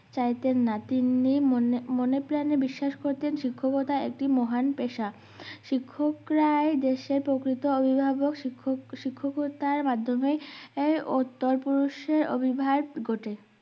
চাইতেন না তিনি মনে মনে প্রানে বিশ্বাস করতেন শিক্ষকতা একটি মহান পেষা শিক্ষক রাই দেশের প্রকৃত অভিবাবক শিক্ষক শিক্ষকতার মাধ্যমে এর উত্তর পুরুষের অভিভাব ঘটে